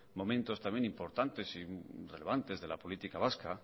momentos también importantes y relevantes de la política vasca